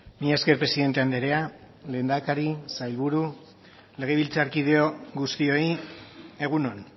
mila esker presidente andrea lehendakari sailburu legebiltzarkide guztioi egun on